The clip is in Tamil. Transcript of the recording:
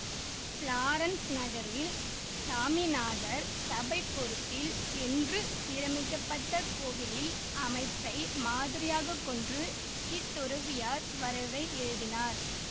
ப்ளோரன்சு நகரில் சாமிநாதர் சபை பொறுப்பில் என்று சீரமைக்கப்பட்ட கோவிலின் அமைப்பை மாதிரியாக கொண்று இத்துறவியர் வரைவை எழுதினர்